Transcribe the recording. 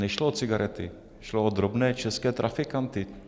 Nešlo o cigarety, šlo o drobné české trafikanty.